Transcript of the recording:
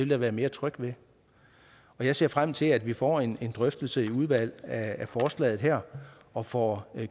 jeg være mere tryg ved jeg ser frem til at vi får en drøftelse i udvalget af forslaget her og får